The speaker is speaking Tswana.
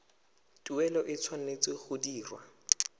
tuelo e tshwanetse go dirwa